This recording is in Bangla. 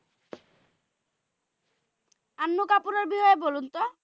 আন্নু কাপুরের বিষয়ে বলুন তো?